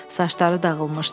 Saçları dağılmışdı.